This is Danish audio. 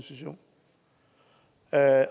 at